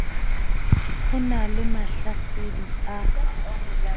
ho na le mahlasedi a